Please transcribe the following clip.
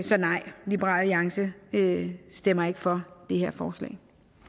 så nej liberal alliance stemmer ikke for det her forslag